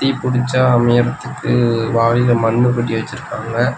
தீ புடிச்சா அமையறத்துக்கு வாளில மண்ணு கொட்டி வெச்சுருக்காங்க.